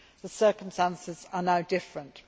The circumstances are now different.